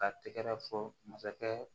Ka tɛgɛrɛ fɔ masakɛ